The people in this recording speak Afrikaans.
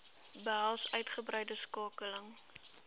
behels uitgebreide skakeling